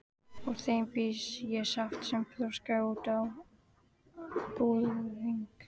Úr þeim bý ég saft sem þroskast út á búðing.